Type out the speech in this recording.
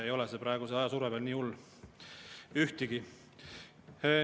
Ei ole see ajasurve praegu veel nii hull ühtegi.